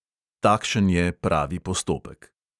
Takšen je pravi postopek.